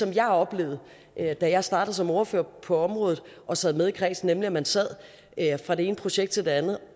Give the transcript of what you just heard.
jeg oplevede da jeg startede som ordfører på området og sad med i kredsen at man sad fra det ene projekt til det andet